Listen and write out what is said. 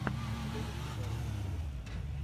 у тебя есть угарные челленджи